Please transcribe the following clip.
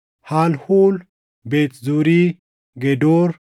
Halhuul, Beet Zuuri, Gedoor,